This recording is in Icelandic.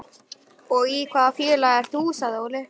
Og í hvaða félagi ert þú? sagði Óli.